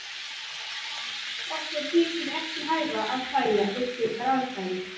Okkur þykir ekki hæfa að hlæja við slíkar aðstæður.